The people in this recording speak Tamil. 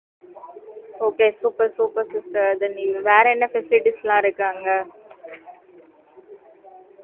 okay super super sister அதை நீங்க வேற என்ன facilities எல்லாம் இருக்காங்க